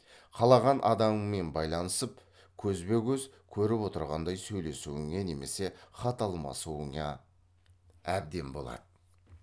қалаған адамыңмен байланысып көзбе көз көріп отырғандай сөйлесуіңе немесе хат алмасуыңа әбден болады